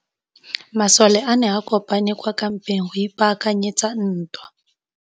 Masole a ne a kopane kwa kampeng go ipaakanyetsa ntwa.